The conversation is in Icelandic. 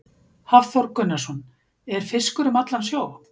Hafþór Gunnarsson: Er fiskur um allan sjó?